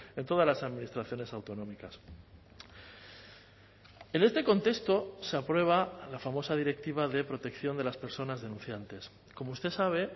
en todas las administraciones autonómicas en este contexto se aprueba la famosa directiva de protección de las personas denunciantes como usted sabe